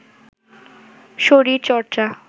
শরীর চর্চা